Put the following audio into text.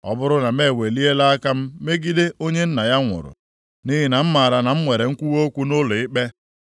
Ọ bụrụ na m eweliela aka m megide onye nna ya nwụrụ, nʼihi na m mara na m nwere nkwuwa okwu nʼụlọikpe,